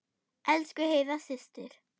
Elsku Heiða systir.